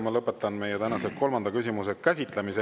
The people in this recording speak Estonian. Ma lõpetan meie tänase kolmanda küsimuse käsitlemise.